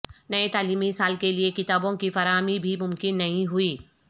نئے تعلیمی سال کے لئے کتابوں کی فراہمی بھی ممکن نہیں ہوئی